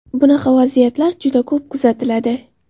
Bunaqa vaziyatlar juda ko‘p kuzatiladi.